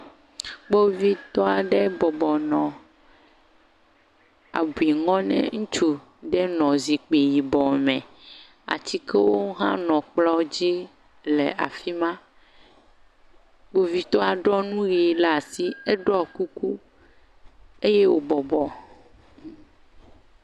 Kpovitɔ aɖe bɔbɔ nɔ abuinɔ ŋutsu aɖe nɔ yibɔ me. Atikewo hã nɔ kplɔ̃ dzi le afi ma. Kpovitɔa ɖɔ nu ʋi ɖe asi. Eɖɔ kuku eye wobɔbɔ.